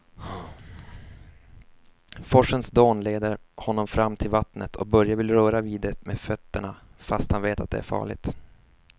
Forsens dån leder honom fram till vattnet och Börje vill röra vid det med fötterna, fast han vet att det är farligt.